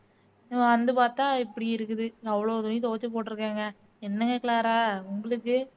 வந்து பாத்தா இப்படி இருக்குது அவ்ளோ துணி துவச்சு போட்டுருக்கேங்க, என்னக க்ளாரா உங்களுக்கு